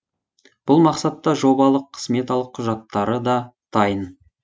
бұл мақсатта жобалық сметалық құжаттары да дайын